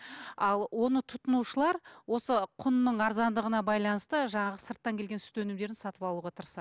ал оны тұтынушылар осы құнның арзандығына байланысты жаңағы сырттан келген сүт өнімдерін сатып алуға